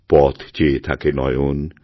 পথ চেয়ে থাকে নয়ন